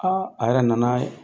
Aa a yɛrɛ nan'a ye.